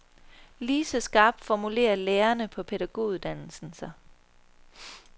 Lige så skarpt formulerer lærerne på pædagoguddannelsen sig.